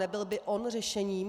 Nebyl by on řešením?